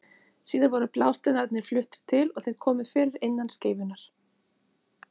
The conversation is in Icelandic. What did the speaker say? Síðar voru blásteinarnir fluttir til og þeim komið fyrir innan skeifunnar.